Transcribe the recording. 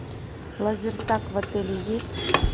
лазертаг в отеле есть